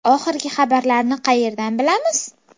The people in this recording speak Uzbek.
Oxirgi xabarlarni qayerdan bilamiz?